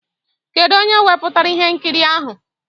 Kedu onye wepụtara ihe nkiri ahụ?